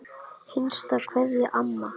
HINSTA KVEÐJA Amma.